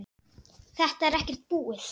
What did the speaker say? Þetta er ekkert búið.